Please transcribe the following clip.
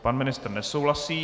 Pan ministr nesouhlasí.